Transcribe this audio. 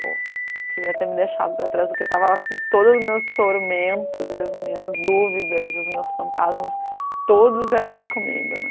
Pô, queria ter me deixado para trás, porque eu tava lá com todos os meus tormentos e as minhas dúvidas e os meus fantasmas, todos viajando comigo, né?